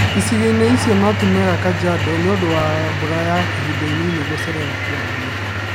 Icigo-ini icio no tĩmwega Kajiado nĩũndũ wa mbura ya ihinda inini gũcererwo kwambia